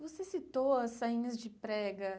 Você citou as sainhas de prega.